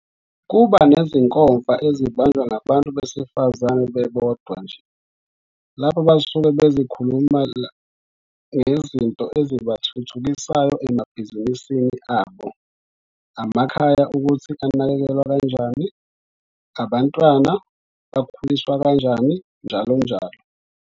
Kuba nezinkomfa ezibanjwa ngabantu besifazane bebodwa nje, lapha basuke bezokhuluma ngezinto ezibathuthukisayo emabhizinisini abo, amakhaya ukuthi anakekelwa kanjani, abantwana bakhuliswa kanjani njalo njalo.